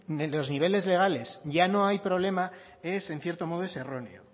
de los niveles legales ya no hay problema es en cierto modo es erróneo